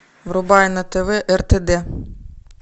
врубай на тв ртд